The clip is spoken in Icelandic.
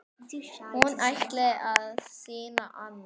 Hún ætlaði að sýna annað.